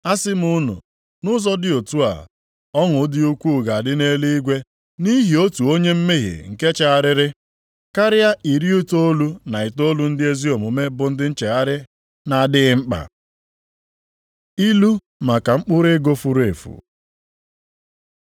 Asị m unu, nʼụzọ dị otu a, ọṅụ dị ukwu ga-adị nʼeluigwe nʼihi otu onye mmehie nke chegharịrị, karịa iri itoolu na itoolu ndị ezi omume bụ ndị nchegharị na-adịghị mkpa. Ilu maka mkpụrụ ego furu efu